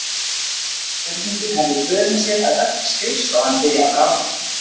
Þessi gjörningur hafði í för með sér að öll skrifstofan byrjaði að bráðna.